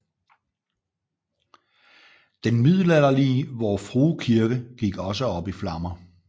Den middelalderlige Vor Frue Kirke gik også op i flammer